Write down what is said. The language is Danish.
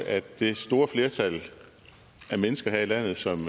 at det store flertal af mennesker her i landet som